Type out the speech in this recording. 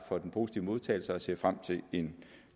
for den positive modtagelse og ser frem til en